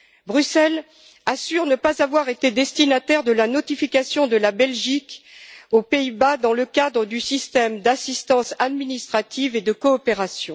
Bruxelles assure ne pas avoir été destinataire de la notification de la Belgique aux Pays Bas dans le cadre du système d'assistance administrative et de coopération.